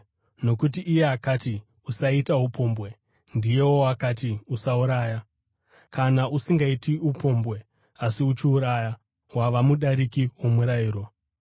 Nokuti iye akati, “Usaita upombwe,” ndiyewo akati, “Usauraya.” Kana usingaiti upombwe asi uchiuraya, wava mudariki womurayiro.